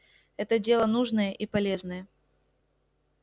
это дело нужное и полезное